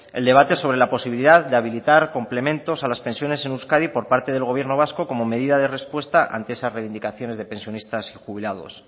el debate sobre la posibilidad de habilitar complementos a las pensiones en euskadi por parte del gobierno vasco como medida de respuesta ante esas reivindicaciones de pensionistas y jubilados